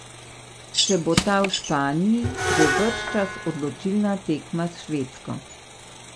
Če bo ta v Španiji, bo bržčas odločilna tekma s Švedsko.